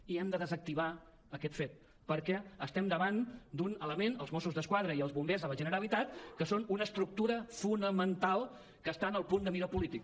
i hem de desactivar aquest fet perquè estem davant d’un element els mossos d’esquadra i els bombers de la generalitat que són una estructura fonamental que està en el punt de mira polític